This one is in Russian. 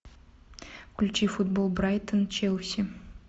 включи футбол брайтон челси